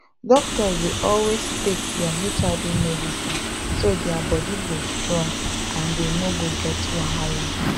doctors dey always take their hiv medicine so their body go strong and dey no go get wahala